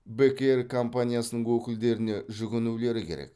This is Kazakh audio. бек эйр компаниясының өкілдеріне жүгінулері керек